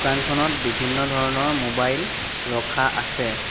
দোকানখনত বিভিন্ন ধৰণৰ মোবাইল ৰখা আছে।